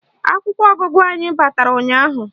Akwụkwọ ọgụgụ anyị batara ụnyaahụ